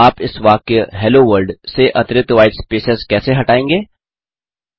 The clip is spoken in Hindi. आप इस वाक्य हेलो वर्ल्ड से अतिरिक्त व्हाईट स्पेसेस कैसे हटायेंगे